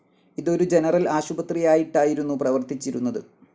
ഇതൊരു ജനറൽ ആശുപത്രിയായിട്ടായിരുന്നു പ്രവർത്തിച്ചിരുന്നത്.